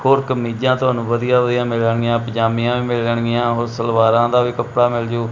ਹੋਰ ਕਮੀਜਾਂ ਤੁਹਾਨੂੰ ਵਧੀਆ ਵਧੀਆ ਮਿਲਣਗੀਆਂ ਪੰਜਾਮੀਆਂ ਵੀ ਮਿਲਣਗੀਆਂ ਹੋਰ ਸਲਵਾਰਾਂ ਦਾ ਵੀ ਕੱਪੜਾ ਮਿਲ ਜੂ।